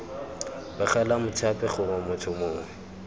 begela mothapi gongwe motho mongwe